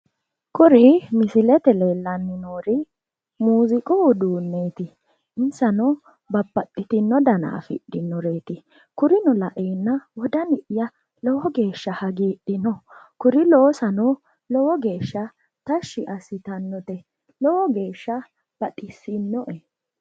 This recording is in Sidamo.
kuri misilete aana leellanni noori muuziiqu uduunneeti insano babbaxitinio dana afidhinoreeti kurino laeenna wodani'ya lowo geeshsha hagiidhino kuri loosano lowo geeshsha tashshi assitannote lowo geeshsha baxissinoe.